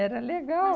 Era legal. Mas